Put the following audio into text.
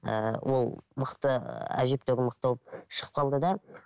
ііі ол мықты әжептеуір мықты шығып қалды да